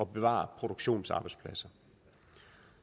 bevare produktionsarbejdspladser